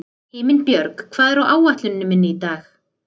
Himinbjörg, hvað er á áætluninni minni í dag?